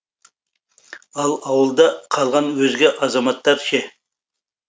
ал ауылда қалған өзге азаматтар ше